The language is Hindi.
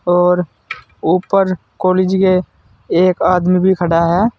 और ऊपर कॉलेज के एक आदमी भी खड़ा है।